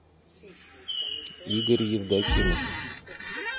игорь евдокимов